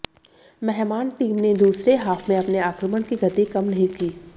मेहमान टीम ने दूसरे हाफ में अपने आक्रमण की गति कम नहीं की